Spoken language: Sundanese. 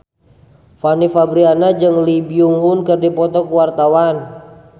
Fanny Fabriana jeung Lee Byung Hun keur dipoto ku wartawan